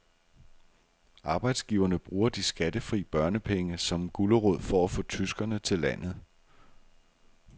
Arbejdsgiverne bruger de skattefri børnepenge som gulerod for at få tyskere til landet.